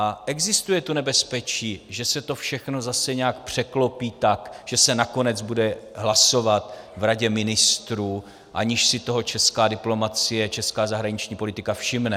A existuje tu nebezpečí, že se to všechno zase nějak překlopí tak, že se nakonec bude hlasovat v Radě ministrů, aniž si toho česká diplomacie, česká zahraniční politika všimne.